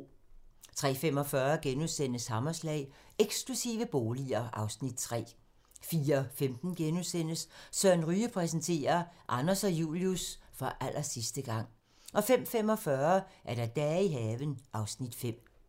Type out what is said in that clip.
03:45: Hammerslag - Eksklusive boliger (Afs. 3)* 04:15: Søren Ryge præsenterer: Anders og Julius - for allersidste gang * 05:45: Dage i haven (Afs. 5)